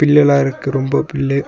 Bill எல்லா இருக்கு ரொம்ப பில்லு.